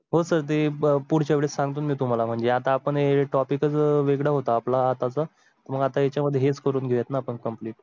हो सर ते पुढच्या वेळेस सांगतो. मी तुम्हाला म्हणजे आता आपण ए topic चं वेगळं होतं आपला आताचा. मग आता याच्या मध्येच करून घेऊयात न आपण complete.